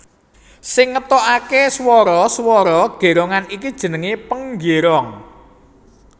Sing ngetokake swara swara gerongan iki jenenge penggerong